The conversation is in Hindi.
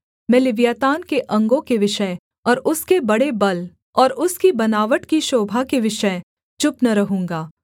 मैं लिव्यातान के अंगों के विषय और उसके बड़े बल और उसकी बनावट की शोभा के विषय चुप न रहूँगा